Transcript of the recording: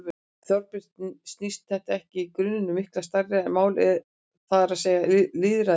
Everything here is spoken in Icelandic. Þorbjörn: Snýst þetta ekki í grunninn um miklu stærra mál, það er að segja lýðræði?